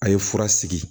A' ye fura sigi